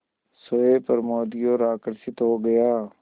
सोए प्रमोद की ओर आकर्षित हो गया